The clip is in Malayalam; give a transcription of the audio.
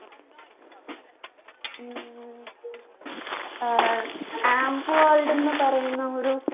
ഉം ഏർ ആമ്പ് world ന്ന് പറയുന്ന ഒരു